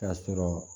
K'a sɔrɔ